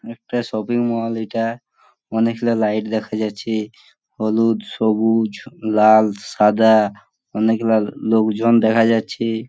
একটা shopping mall এইটা অনেকগুলা লাইট দেখা যাচ্ছে হলুদ সবুজ লাল সাদা অনেকগুলা লো লোকজন দেখা যাচ্ছে।